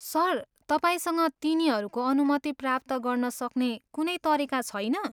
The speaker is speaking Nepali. सर, तपाईँसँग तिनीहरूको अनुमति प्राप्त गर्न सक्ने कुनै तरिका छैन?